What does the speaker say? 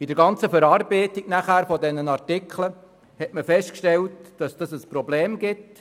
In der ganzen Verarbeitung der Artikel wurde festgestellt, dass dies zu einem Problem führt.